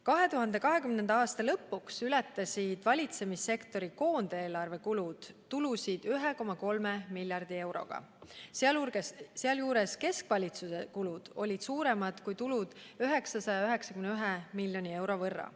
2020. aasta lõpus ületasid valitsemissektori koondeelarve kulud tulusid 1,3 miljardi euroga, sealjuures keskvalitsuse kulud olid tuludest suuremad 991 miljoni euro võrra.